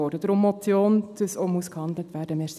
Deshalb eine Motion, damit auch gehandelt werden muss.